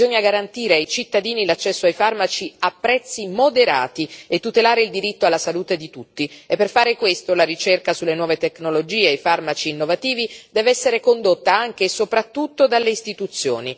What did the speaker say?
Bisogna garantire ai cittadini l'accesso ai farmaci a prezzi moderati e tutelare il diritto alla salute di tutti e per fare questo la ricerca sulle nuove tecnologie e i farmaci innovativi deve essere condotta anche e soprattutto dalle istituzioni.